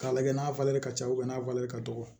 K'a lajɛ n'a falen ka ca n'a falen ka dɔgɔ